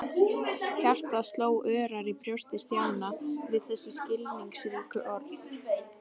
Hjartað sló örar í brjósti Stjána við þessi skilningsríku orð.